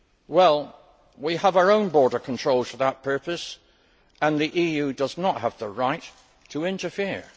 Well, we have our own border controls for that purpose, and the EU does not have the right to interfere.